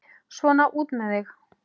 Svona, út með þig!